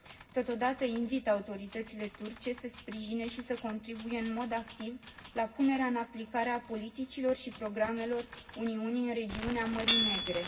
Totodată, invit autoritățile turce să sprijine și să contribuie în mod activ la punerea în aplicare a politicilor și programelor Uniunii în regiunea Mării Negre.